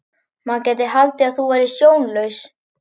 Maður gæti haldið að þú værir sjónlaus!